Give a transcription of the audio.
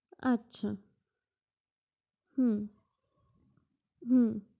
আচ্ছা, হু হু